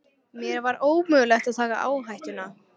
Mér var ómögulegt að taka áhættuna.